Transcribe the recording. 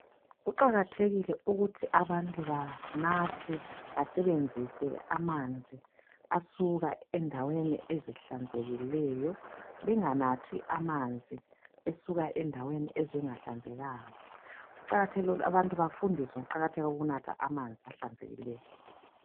Kuqakathekile ukuthi abantu banathe basebenzise amanzi asuka endaweni ezihlanzekileyo benganathi amanzi asuka endaweni ezingahlanzekanga. Kuqakathekile ukuthi abantu bafundiswe ngokuqakatheka kokunatha amanzi ahlanzekileyo.